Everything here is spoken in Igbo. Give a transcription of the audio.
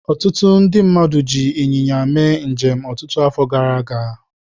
Ọtụtụ ndị mmadụ ji ịnyịnya mee njem ọtụtụ afọ gara aga.